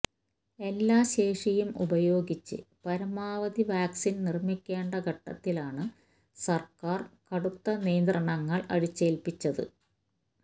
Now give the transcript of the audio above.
എല്ലാ ശേഷിയും ഉപയോഗിച്ച് പരമാവധി വാക്സിൻ നിർമ്മിക്കേണ്ട ഘട്ടത്തിലാണ് സർക്കാർ കടുത്ത നിയന്ത്രണങ്ങൾ അടിച്ചേൽപ്പിച്ചത്